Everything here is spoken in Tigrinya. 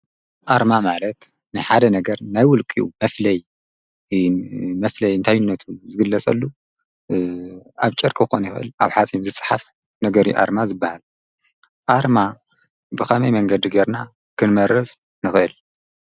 ኣርማ ማለት ናይ ሓደ ነገር ናይ ውልቅኡ መፍለይ እንታይነቱ ዝግለፀሉ ኣብ ጨርቂ ክከውን ይክእል ኣብ ሓፂን ዝፅሓፍ ነገር እዩ ኣርማ ዝባሃል። ኣርማ ብከመይ መንገዲ ገይርና ክንመርፅ ንክእል?